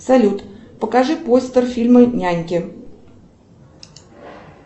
салют покажи постер фильма няньки